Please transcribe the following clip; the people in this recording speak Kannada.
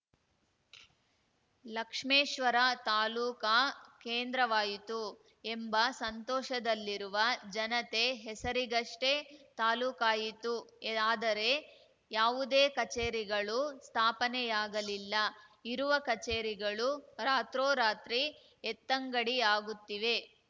ಲಕ್ಷ್ಮೇಶ್ವರ ತಾಲೂಕಾ ಕೇಂದ್ರವಾಯಿತು ಎಂಬ ಸಂತೋಷದಲ್ಲಿರುವ ಜನತೆ ಹೆಸರಿಗಷ್ಟೆ ತಾಲೂಕಾಯಿತು ಆದರೆ ಯಾವುದೇ ಕಚೇರಿಗಳು ಸ್ಥಾಪನೆಯಾಗಲಿಲ್ಲ ಇರುವ ಕಚೇರಿಗಳು ರಾತ್ರೋರಾತ್ರಿ ಎತ್ತಂಗಡಿಯಾಗುತ್ತಿವೆ